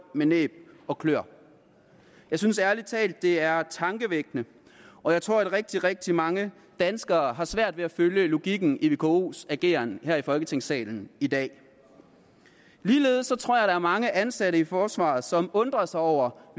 med næb og kløer jeg synes ærlig talt det er tankevækkende og jeg tror at rigtig rigtig mange danskere har svært ved at følge logikken i vkos ageren her i folketingssalen i dag ligeledes tror jeg er mange ansatte i forsvaret som undrer sig over